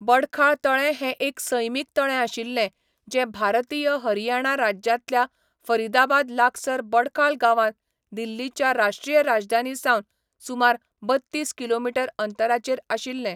बडखाल तळें हें एक सैमीक तळें आशिल्लें, जें भारतीय हरियाणा राज्यांतल्या फरीदाबाद लागसार बडखाल गांवांत दिल्लीच्या राश्ट्रीय राजधानीसावन सुमार बत्तीस किलोमीटर अंतराचेर आशिल्लें.